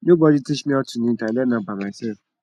nobody teach me how to knit i learn am by myself